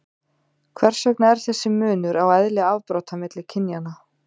hvers vegna er þessi munur á eðli afbrota milli kynjanna